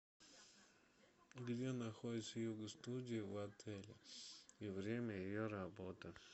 где находится юго студия в отеле и время ее работы